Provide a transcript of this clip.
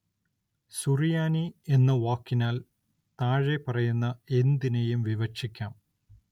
സുറിയാനി എന്ന വാക്കിനാല്‍ താഴെപ്പറയുന്ന എന്തിനേയും വിവക്ഷിക്കാം